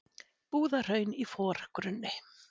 Búðahraun í forgrunni.